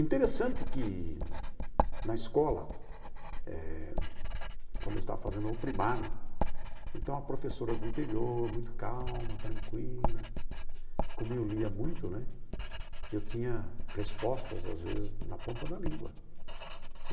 Interessante que, na escola eh, quando eu estava fazendo o primário, então a professora do interior, muito calma, tranquila, como eu lia muito né, eu tinha respostas, às vezes, na ponta da língua.